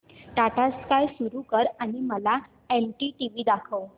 Tata Sky सुरू कर आणि मला एनडीटीव्ही दाखव